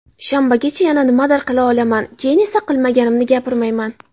Shanbagacha yana nimadir qila olaman, keyin esa qilmaganimni gapirmayman.